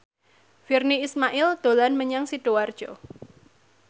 Virnie Ismail dolan menyang Sidoarjo